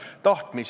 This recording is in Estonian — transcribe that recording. Tänan!